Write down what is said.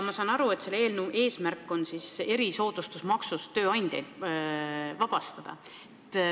Ma saan aru, et selle eelnõu eesmärk on tööandjaid erisoodustusmaksust vabastada.